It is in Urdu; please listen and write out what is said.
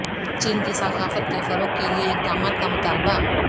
چین کی ثقافت کے فروغ کے لیے اقدامات کا مطالبہ